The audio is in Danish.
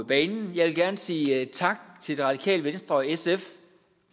banen jeg vil gerne sige tak til det radikale venstre og sf